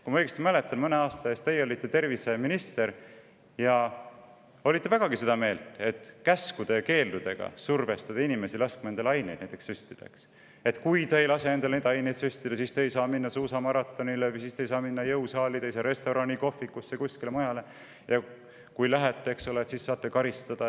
Kui ma õigesti mäletan, siis mõne aasta eest te olite terviseminister ja siis te olite vägagi seda meelt, et käskude ja keeldudega survestada inimesi laskma endale aineid süstida: "Kui te ei lase endale neid aineid süstida, siis te ei saa minna suusamaratonile või jõusaali, te ei saa restorani, kohvikusse ega kuskile mujale, ja kui te lähete, siis saate karistada.